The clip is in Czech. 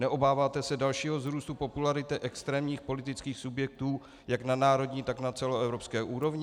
Neobáváte se dalšího vzrůstu popularity extrémních politických subjektů jak na národní, tak na celoevropské úrovni?